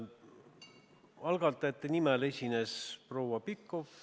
Algatajate nimel esines proua Pikhof.